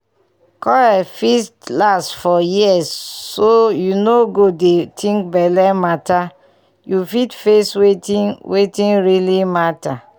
coil fit last for years so you no go dey think belle matter you fit face wetin wetin really matter.